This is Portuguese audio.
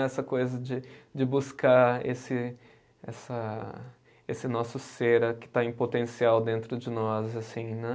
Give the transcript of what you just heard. Essa coisa de de buscar esse essa, esse nosso ser que está em potencial dentro de nós, assim, né?